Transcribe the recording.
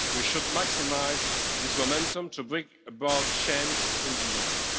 We should maximise this momentum to bring about change in the Union.